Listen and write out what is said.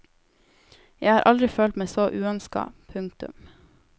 Jeg har aldri følt meg så uønska. punktum